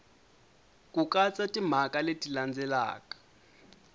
ku katsa timhaka leti landzelaka